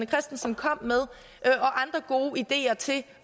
christensen kom med og andre gode ideer til